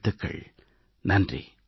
பலப்பல நல்வாழ்த்துக்கள்